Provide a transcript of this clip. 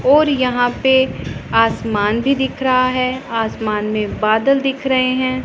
और यहां पे आसमान भी दिख रहा है आसमान में बदल दिख रहे हैं।